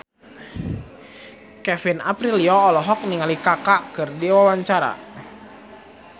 Kevin Aprilio olohok ningali Kaka keur diwawancara